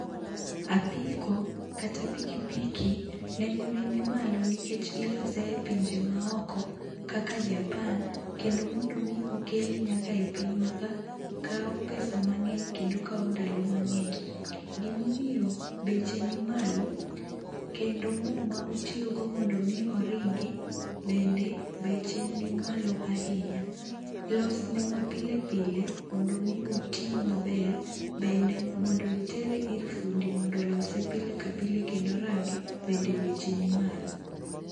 Apiko kata pikipiki nengo ne nimalo nikech ilose e pinje maoko kaka japan kendo mondo omii okele nyaka e pinywa ka kaw pesa mang'eny kendo kawo ndalo mang'eny .Gimomiyo beche ni malo kendo moo ma otiyo go mondo mii oringi bende beche ni malo ahinya .Losne ma pile pile mondo mi otii maber bende mondo itere ir fundi mondo olose pile ka pile kendo orange bende beche ni malo.